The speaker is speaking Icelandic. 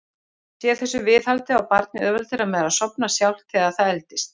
Sé þessu viðhaldið á barnið auðveldara með að sofna sjálft þegar það eldist.